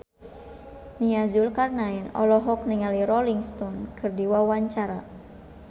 Nia Zulkarnaen olohok ningali Rolling Stone keur diwawancara